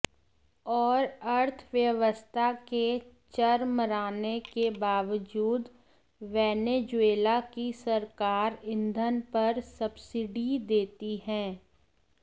और अर्थव्यवस्था के चरमराने के बावजूद वेनेजुएला की सरकार ईंधन पर सब्सिडी देती है